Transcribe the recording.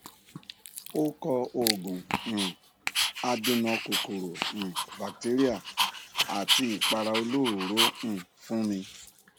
ó kọ òògùn um adènà kòkòrò um batéríà àti ìpara olóròóró um fún mi